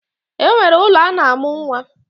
E nwere ụlọ a na-amụ nwa.